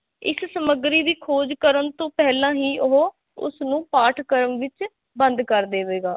ਇਸ ਸਮੱਗਰੀ ਦੀ ਖੋਜ ਕਰਨ ਤੋਂ ਪਹਿਲਾਂ ਹੀ ਉਹ ਉਸਨੂੰ ਪਾਠਕ੍ਰਮ ਵਿੱਚ ਬੰਦ ਕਰ ਦੇਵੇਗਾ।